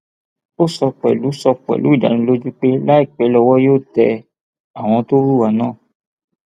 ó sọ pẹlú sọ pẹlú ìdánilójú pé láìpẹ lọwọ yóò tẹ àwọn tó hùwà náà